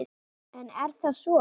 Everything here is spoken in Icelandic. En er það svo?